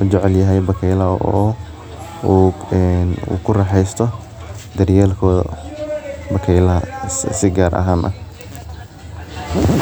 ujecelyahay bakeylaha si fudud oo ee u kuraxesto bakeylaha si gar ahan ah.